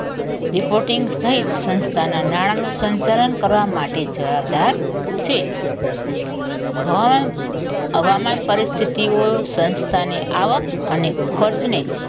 reporting થઈ સંસ્થાના નાણા નું સંચાલન કરવા માટે જવાબદાર છે હા હવામાન પરિસ્થિતિઓ સંસ્થાની આવક અને ખોજને